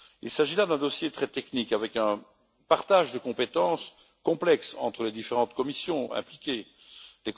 Il s'agit là d'un dossier très technique, avec un partage de compétences complexe entre les différentes commissions qui y participent.